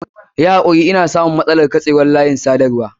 Yi hakuri ina samun matsalar katsewar layin sadarwa.